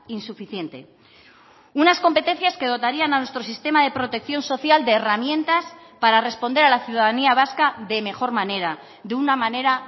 insuficiente unas competencias que dotarían a nuestro sistema de protección social de herramientas para responder a la ciudadanía vasca de mejor manera de una manera